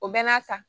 O bɛɛ n'a ta